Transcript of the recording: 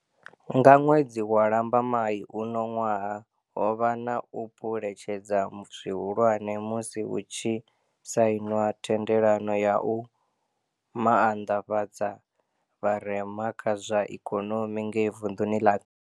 Nga ṅwedzi wa Lamba mai uno ṅwaha, ho vha na u phule tshedza zwihulwane musi hu tshi sainwa thendelano ya u maanḓafhadza vharema kha zwa ikonomi ngei vunḓuni ḽa Kapa